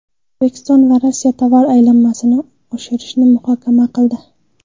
O‘zbekiston va Rossiya tovar aylanmasini oshirishni muhokama qildi.